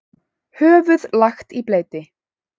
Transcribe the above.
Höfuð lagt í bleyti.